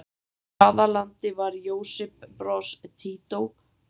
Í hvaða landi var Josip Broz Tito forseti?